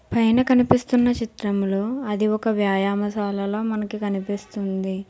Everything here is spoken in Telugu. పైన కనిపిస్తున్న చిత్రంలో అది ఒక వ్యాయామసాలాల మనకి కనిపిస్తుంది.